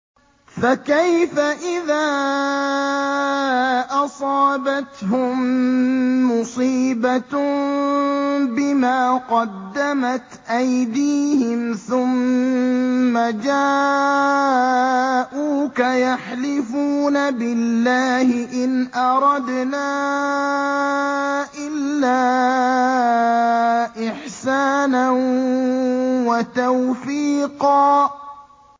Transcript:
فَكَيْفَ إِذَا أَصَابَتْهُم مُّصِيبَةٌ بِمَا قَدَّمَتْ أَيْدِيهِمْ ثُمَّ جَاءُوكَ يَحْلِفُونَ بِاللَّهِ إِنْ أَرَدْنَا إِلَّا إِحْسَانًا وَتَوْفِيقًا